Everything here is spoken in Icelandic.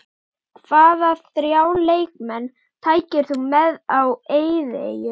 Hvaða þrjá leikmenn tækir þú með á eyðieyju?